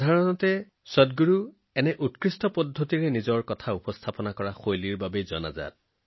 সাধাৰণতে সদগুৰুজীয়ে নিজৰ কথা ইমান ভালকৈ আগবঢ়াই দিয়াৰ বাবে জনাজাত